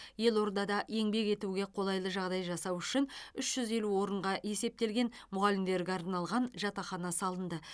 елордада еңбек етуге қолайлы жағдай жасау үшін үш жүз елу орынға есептелген мұғалімдерге арналған жатақхана салынды